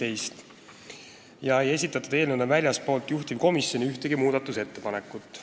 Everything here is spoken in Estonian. Selleks ajaks ei esitatud väljastpoolt juhtivkomisjoni ühtegi muudatusettepanekut.